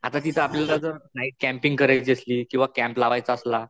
आता तिथं आपल्याला जर नाईट कॅम्पिंग करायची असली किंवा कॅम्प लावायचा असला.